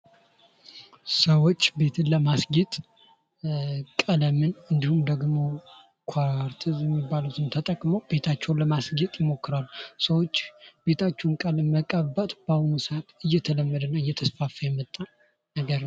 ሰዎች ቤትን ለማስጌጥ ቀለምን እንድሁም ደግሞ ኳርትዝ የሚባሉትን ተጠቅሞ ቤታቸውን ለማስጌጥ ይሞክራሉ። ሰዎች ቤታችሁን ከማነቃበት በአሁኑ ሰአት እየተለመደና እየተስፋፋ የመጣ ነገር ነው።